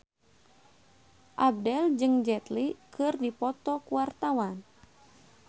Abdel jeung Jet Li keur dipoto ku wartawan